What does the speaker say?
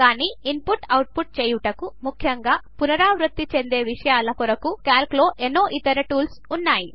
కాని ఇన్పుట్ను ఆటోమేట్ చేయుటకు ముఖ్యంగా పునరావృత చెందే విషయాల కొరకు క్యాల్క్లో ఎన్నో ఇతర టూల్స్ ఉన్నాయి